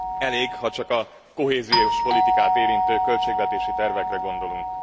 Elég, ha csak a kohéziós politikát érintő költségvetési tervekre gondolunk.